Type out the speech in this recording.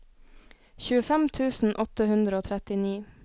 tjuefem tusen åtte hundre og trettini